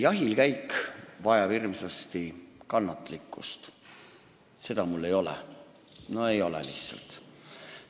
Jahilkäik vajab hirmsasti kannatlikkust, mida mul ei ole – no lihtsalt ei ole.